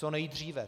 Co nejdříve.